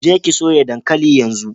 Je ki soya dankali yanzu!